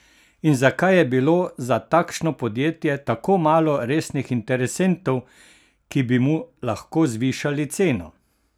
In zakaj je bilo za takšno podjetje tako malo resnih interesentov, ki bi mu lahko zvišali ceno?